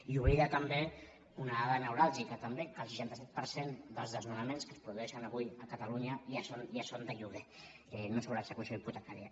i oblida també una dada neuràlgica també que el seixanta cinc per cent dels desnonaments que es produeixen avui a catalunya ja són de lloguer no sobre execució hipotecària